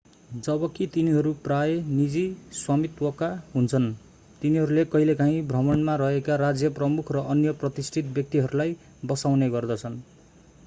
जबकि तिनीहरू प्रायः निजी स्वामित्वका हुन्छन् तिनीहरूले कहिलेकाहिँ भ्रमणमा रहेका राज्य प्रमुख र अन्य प्रतिष्ठित व्यक्तिहरूलाई बसाउने गर्दछन्